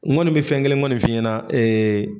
N kɔni bɛ fɛn kelen kɔni fi ɲɛna